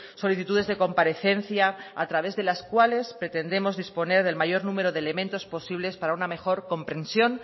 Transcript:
solicitudes de comparecencia a través de las cuales pretendemos disponer del mayor número de elementos posibles para una mejor comprensión